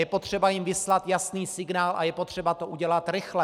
Je potřeba jim vyslat jasný signál a je potřeba to udělat rychle.